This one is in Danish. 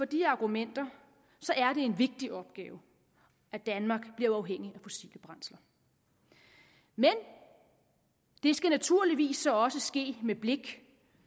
de argumenter er det en vigtig opgave at danmark bliver uafhængig af fossile brændsler men det skal naturligvis så også ske med blikket